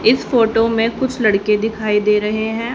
इस फोटो में कुछ लड़के दिखाई दे रहे हैं।